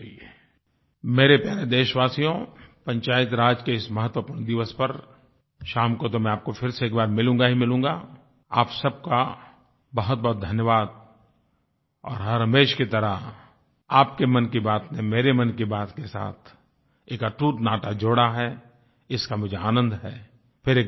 मेरे प्यारे देशवासियो पंचायतराज के इस महत्वपूर्ण दिवस पर शाम को तो मैं आपको फिर से एक बार मिलूँगा ही मिलूँगा आप सब का बहुतबहुत धन्यवादI और हरहमेश की तरह आपके मन की बात ने मेरे मन की बात के साथ एक अटूट नाता जोड़ा है इसका मुझे आनंद हैI फिर एक बार बहुतबहुत धन्यवाद